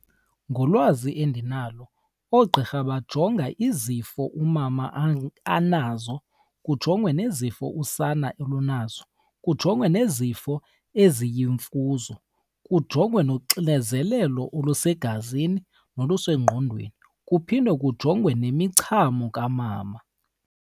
Ngolwazi endinalo oogqirha bajonga izifo umama anazo, kujongwe nezifo usana olunazo, kujongwe nezifo eziyimfuzo, kujongwe noxinezelelo olusegazini nolusengqondweni, kuphinde kujongwe nemichamo kamama.